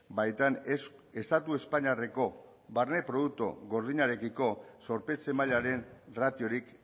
baitan ez estatu espainiarreko barne produktu gordinarekiko zorpetze mailaren ratiorik